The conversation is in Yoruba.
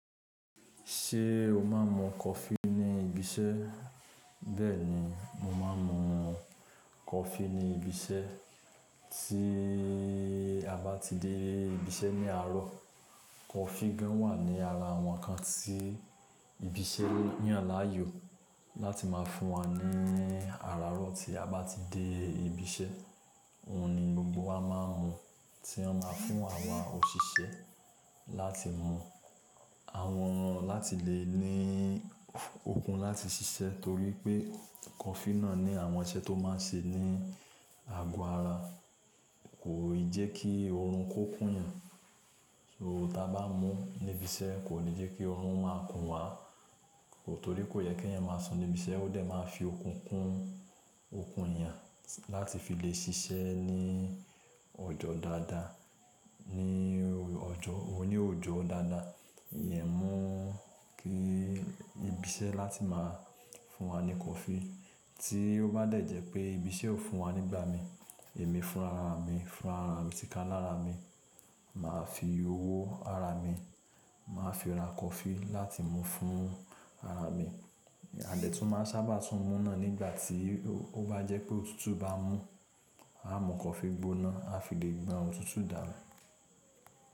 Ṣé o máa ń mu coffee ní ibi iṣẹ́? Bẹ́ẹ̀ ni, mo máa ń mu coffee ní ibi iṣẹ́. Tí a bá ti dé ibi iṣẹ́ ní àárọ̀, coffee gan wà ní ara àwọn ǹkan tí ibi iṣẹ́ yan layoo láti máa fún wa ní àrárọ̀ tí a bá ti dé ibi iṣẹ́. Ohun ni gbogbo wa máa ń mu tí wọ́n máa ma fún awa òṣìṣẹ́ láti mu. Àwọn, láti lè ní okun láti ṣiṣẹ́ torí pé coffee náà ní àwọn iṣẹ́ tó máa n ṣe ní ago ara. Kòi jẹ kí oorun kó kún yàn. So, ta bá mú níbi iṣẹ́ kò ní jẹ́ kí oorun máa kún wá. Torí kò yẹ kí eeyan máa sùn níbi iṣẹ́, ó dẹ̀ máa fi okun kún okun èèyàn láti fi lè ṣiṣẹ́ ní ọjọ́ dáadáa. Ní ọjọ́, oní oojọ́ dáadáa, ìyẹn mu kí ibi iṣẹ́ láti máa fún wa ní coffee. Tí ó bá dẹ̀ jẹ́ pé ibi iṣẹ́ ò fún wa nígbà mi, èmi fún ara mi fún ara mi tí kán lára mi. Màá fi owó ara mi, màá fi ra coffee láti mu fún ara mi. À dẹ́ tùn máa n sábà tún mú náà nígbà tí ó bá jẹ́ pé òtútù bá mú, a mú coffee gbóná a fi lè gbọn òtútù danu.